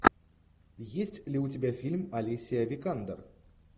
есть ли у тебя фильм алисия викандер